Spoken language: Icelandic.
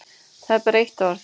Það er bara eitt orð.